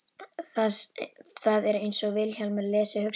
Það er einsog Vilhjálmur lesi hugsanir mínar.